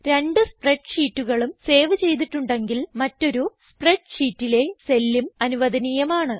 രണ്ട് സ്പ്രെഡ് ഷീറ്റുകളും സേവ് ചെയ്തിട്ടുണ്ടെങ്കിൽ മറ്റൊരു സ്പ്രെഡ് ഷീറ്റിലെ സെല്ലും അനുവധനീയമാണ്